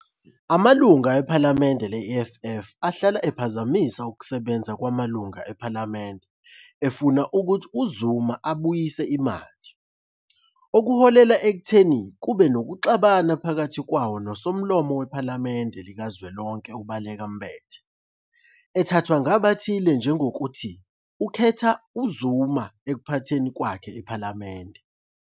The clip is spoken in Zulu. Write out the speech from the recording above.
Amalungu ePhalamende le- EFF ahlala ephazamisa ukusebenza kwamalungu ePhalamende efuna ukuthi uZuma "abuyisele imali", okuholele ekutheni kube nokuxabana phakathi kwawo noSomlomo wePhalamende likazwelonke Baleka Mbete, ethathwa ngabathile njengokuthi akhethe uZuma ekuphatheni kwakhe iPhalamende.